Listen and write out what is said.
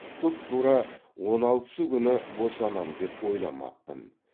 тұп тура он алтысы күні босанам деп ойламаппын